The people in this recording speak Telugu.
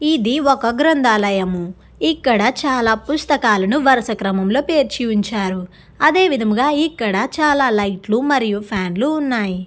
ఇది ఒక గ్రంధాలయము. ఇక్కడ పుస్తకములు వరుస క్రమం లో పేర్చి ఉంచారు. అదే విధముగా ఇక్కడ చాలా లైట్ లు ఫ్యాన్ లు ఉన్నాయి.